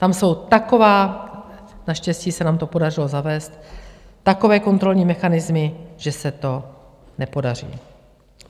Tam jsou takové - naštěstí se nám to podařilo zavést - takové kontrolní mechanismy, že se to nepodaří.